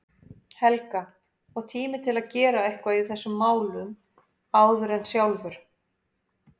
Helga, og tími til að gera eitthvað í þessum málum áður en sjálfur